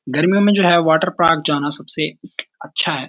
गर्मियों में जो है वाटर पार्क जाना सबसे अच्छा है।